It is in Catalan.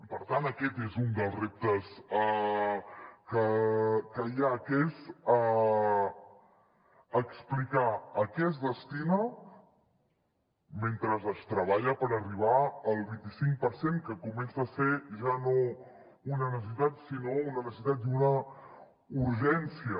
per tant aquest és un dels reptes que hi ha que és explicar a què es destina mentre es treballa per arribar al vint i cinc per cent que comença a ser ja no una necessitat sinó una necessitat i una urgència